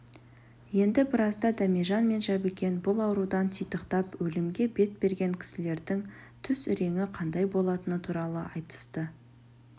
енді біразда дәмежан мен жәбікен бұл аурудан титықтап өлімге бет берген кісілердің түс іреңі қандай болатыны туралы айтысты